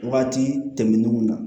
Waati tɛmɛnnenw na